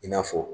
I n'a fɔ